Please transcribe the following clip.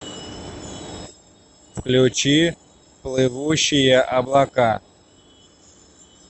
включи плывущие облака